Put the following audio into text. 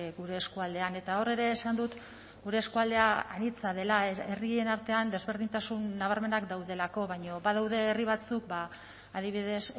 gure eskualdean eta hor ere esan dut gure eskualdea anitza dela herrien artean desberdintasun nabarmenak daudelako baina badaude herri batzuk adibidez